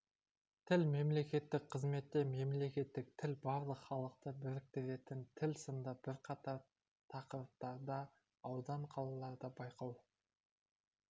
тіл мемлекеттік қызметте мемлекеттік тіл барлық халықты біріктіретін тіл сынды бірқатар тақырыптарда аудан қалаларда байқау